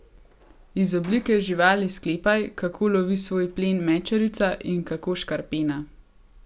Iz oblike živali sklepaj, kako lovi svoj plen mečarica in kako škarpena.